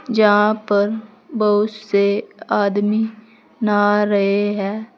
जहां पर बहुत से आदमी नहा रहे है।